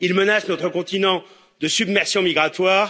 Il menace notre continent de submersion migratoire.